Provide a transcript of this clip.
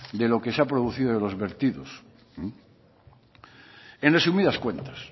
de lo que se ha producido de los vertidos en resumidas cuentas